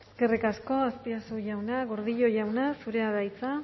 eskerrik asko azpiazu jauna gordillo jauna zurea da hitza